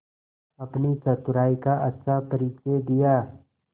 अपनी चतुराई का अच्छा परिचय दिया